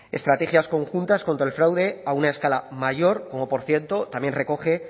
estrategias conjuntas contra el fraude a una escala mayor como por cierto también recoge